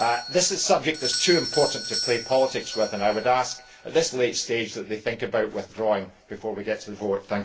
This is a subject that is too important to play politics with and I would ask, at this late stage, that they think about withdrawing before we get to the vote.